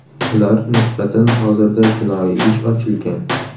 Ular nisbatan hozirda jinoiy ish ochilgan.